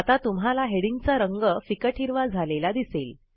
आता तुम्हाला हेडिंगचा रंग फिकट हिरवा झालेला दिसेल